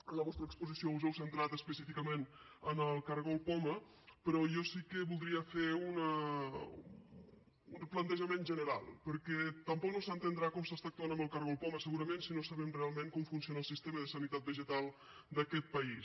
a la vostra exposició us heu centrat específicament en el cargol poma però jo sí que voldria fer un plantejament general perquè tampoc no s’entendrà com s’està actuant amb el cargol poma segurament si no sabem realment com funciona el sistema de sanitat vegetal d’aquest país